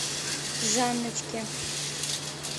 жанночки